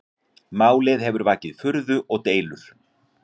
Málið hefur vakið furðu og deilur